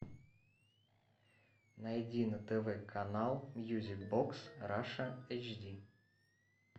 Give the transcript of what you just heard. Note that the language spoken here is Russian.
найди на тв канал мьюзик бокс раша эйч ди